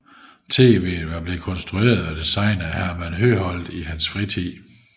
TVet var blevet konstrueret og designet af Herman Høedholt i hans fritid